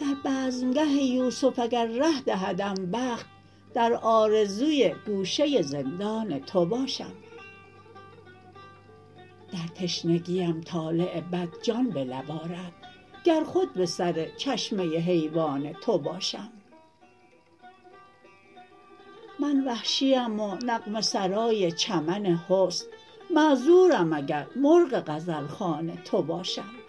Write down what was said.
در بزمگه یوسف اگر ره دهدم بخت درآرزوی گوشه زندان تو باشم در تشنگیم طالع بد جان به لب آرد گر خود به سر چشمه حیوان تو باشم من وحشیم و نغمه سرای چمن حسن معذورم اگر مرغ غزلخوان تو باشم